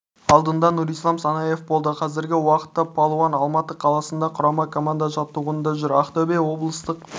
алдында нұрислам санаев болды қазіргі уақытта палуан алматы қаласында құрама команда жаттығуында жүр ақтөбе облыстық